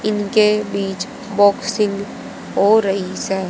इनके बीच बॉक्सिंग हो रही है।